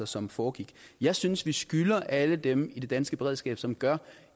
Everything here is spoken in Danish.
som foregik jeg synes vi skylder alle dem i det danske beredskab som gør